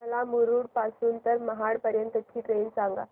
मला मुरुड पासून तर महाड पर्यंत ची ट्रेन सांगा